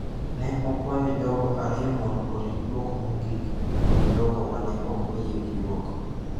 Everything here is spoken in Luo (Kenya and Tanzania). Ne okwayo jogo ariyo mondo orit duoko mogik kod jogo ma ne ok oyie gi duoko.